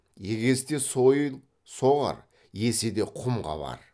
егесте сойыл соғар еседе құм қабар